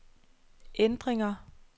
ændringer